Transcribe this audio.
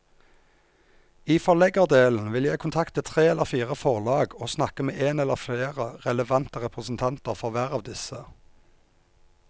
I forleggerdelen vil jeg kontakte tre eller fire forlag og snakke med en eller flere relevante representanter for hver av disse.